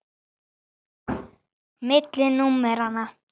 Milli númera.